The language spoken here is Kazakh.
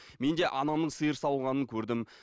мен де анамның сиыр сауғанын көрдім